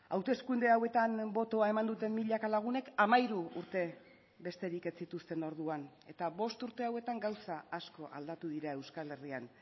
hauteskunde hauetan botoa eman duten milaka lagunek hamairu urte besterik ez zituzten orduan eta bost urte hauetan gauza asko aldatu dira euskal herrian